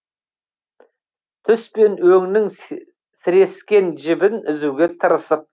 түс пен өңнің сірескен жібін үзуге тырысып